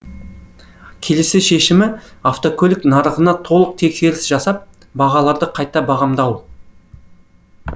келесі шешімі автокөлік нарығына толық тексеріс жасап бағаларды қайта бағамдау